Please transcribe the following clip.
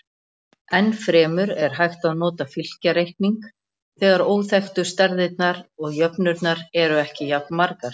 Enn fremur er hægt að nota fylkjareikning þegar óþekktu stærðirnar og jöfnurnar eru ekki jafnmargar.